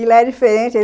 E lá é diferente.